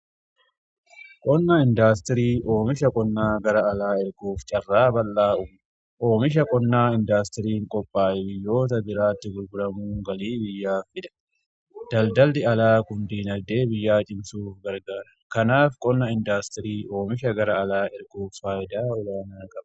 Qonna indaastirii oomisha qonnaa gara alaa erguuf carraa bal'aa oomisha qonnaa indaastirii qophaa biyyoota biraatti gurguramuu galii biyyaa fida. Daldalli alaa guddina diinagdee biyyaa cimsuuf gargaara kanaaf qonna indaastirii oomisha gara alaa erguuf faayidaa olaanaa qaba.